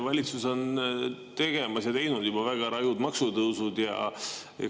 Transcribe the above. Valitsus on juba teinud väga rajud maksutõusud ja teeb neid veel.